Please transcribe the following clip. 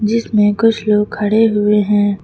जिसमें कुछ लोग खड़े हुए हैं।